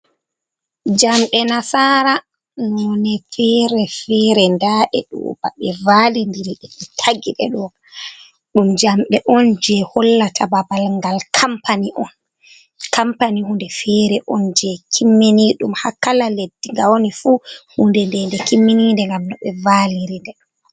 Jamde nasara none fere fere dae duba be validirie be tagide doa dum jamde on je hollata babal ngal kapani on kampani hunde fere on je kimmini dum, hakkala leddi ga wani fu hunde dende kimminide gam no be valiridedm.